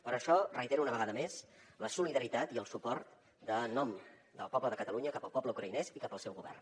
per això reitero una vegada més la solidaritat i el suport en nom del poble de catalunya cap al poble ucraïnès i cap al seu govern